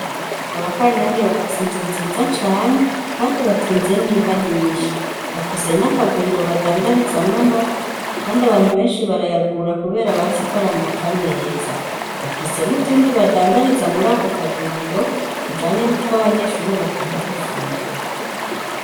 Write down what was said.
Kwa ba Kanyange bafise inzu nziza cane, kandi batunze n'inka nyinshi. Bafise n'akaguriro badandarizamwo amata, kandi abantu benshi barayagura, kubera bazi ko ari amata meza. Bafise n'utundi badandariza muri ako kaguriro tujanye n'utwo abanyeshure bakunda gufungura.